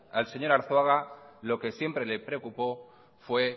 al señor arzuaga lo que siempre le preocupó fue